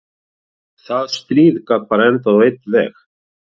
Það stríð gat bara endað á einn veg.